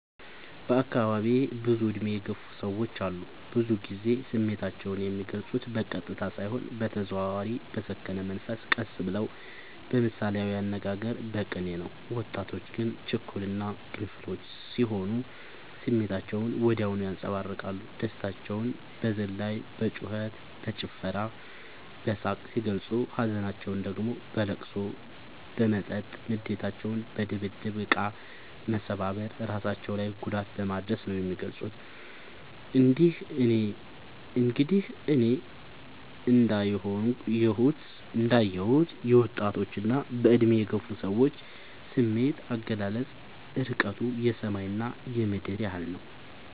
በአካባቢዬ ብዙ እድሜ የገፉ ሰዎች አሉ። ብዙ ግዜ ስሜታቸው የሚልፁት በቀጥታ ሳይሆን በተዘዋዋሪ በሰከነ መንፈስ ቀስ ብለው በምሳሌያዊ አነጋገር በቅኔ ነው። ወጣቶች ግን ችኩል እና ግንፍሎች ስሆኑ ስሜታቸውን ወዲያው ያንፀባርቃሉ። ደስታቸውን በዝላይ በጩከት በጭፈራ በሳቅ ሲገልፁ ሀዘናቸውን ደግሞ በለቅሶ በመጠጥ ንዴታቸውን በድብድብ እቃ መሰባበር እራሳቸው ላይ ጉዳት በማድረስ ነው የሚገልፁት። እንግዲህ እኔ እንዳ የሁት የወጣቶች እና በእድሜ የገፉ ሰዎች ስሜት አገላለፅ እርቀቱ የሰማይ እና የምድር ያህል ነው።